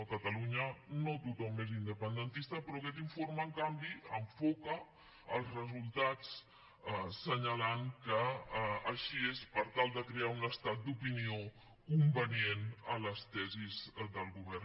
a catalunya no tothom és independentista però aquest informe en canvi enfoca els resultats i assenyala que així és per tal de crear un estat d’opinió convenient a les tesis del govern